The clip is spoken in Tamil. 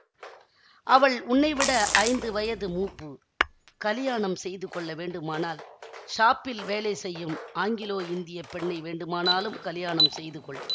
அவள் உன்னைவிட ஐந்து வயது மூப்பு கலியாணம் செய்துகொள்ள வேண்டுமானால் ஷாப்பில் வேலை செய்யும் ஆங்கிலோ இந்திய பெண்ணை வேண்டுமானாலும் கலியாணம் செய்துகொள்